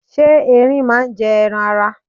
Ṣé Ẹrin máa ń jẹ ẹran ara?